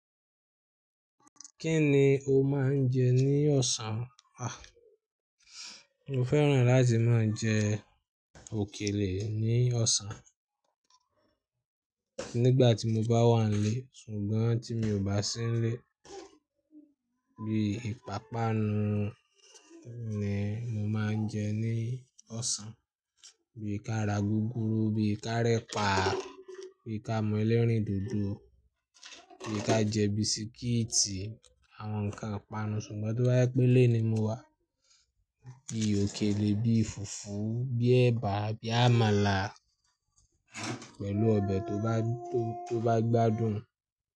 Kí ni o máa ń jẹ ní ọ̀sán? A! Mo fẹ́ràn láti máa jẹ òkèlè ní ọ̀sán. Nígbà tí mo bá wà nílé, ṣùgbọ́n tí mi ò bá sí nílé, bí ipàpanu ni mo máa ń jẹ ní ọ̀sán. Bí i ká ra gúgúrú, bí i ká rẹ́pa, bí i ká mú ẹlẹ́rìndòdò, bí i ká jẹ bisikíìtì, àwọn nǹkan ìpanu. Ṣùgbọ́n tó bá yí pé ilé ní mo wà, bí i òkèlè, bí i fùfú, bí i ẹ̀bà, bí i àmàlà pẹ̀lú ọbẹ̀ tó bá gbádùn.